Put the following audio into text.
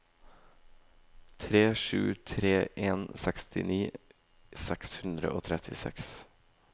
tre sju tre en sekstini seks hundre og trettiseks